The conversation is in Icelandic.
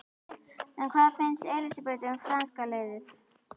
En hvað finnst Elísabetu um franska liðið?